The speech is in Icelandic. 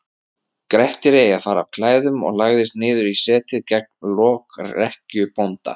Grettir eigi fara af klæðum og lagðist niður í setið gegnt lokrekkju bónda.